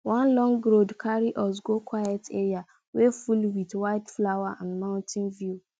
one long road carry us go quiet area wey full with wildflower and mountain view